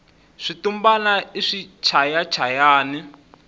switumbani i swichaya chayani